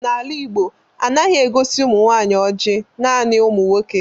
N'ala Igbo, anaghi egosi umunwanyi oji, naani umu nwoke.